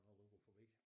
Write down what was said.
Når du går forbi